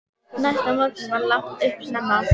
Næsta morgun var lagt upp snemma.